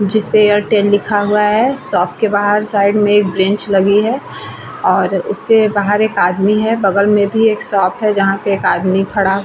जिसपे एयरटेल लिखा हुआ है शॉप के बाहर साइड में एक बैंच लगी है और उसके बाहर एक आदमी है बगल में भी एक शॉप है जहाँ पे एक आदमी खड़ा हुआ है ।